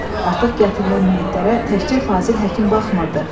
Artıq gətirilən meytlərə təkcə Fazil Həkim baxmırdı.